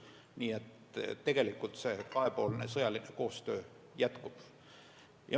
Nii et kahepoolne sõjaväeline koostöö jätkub.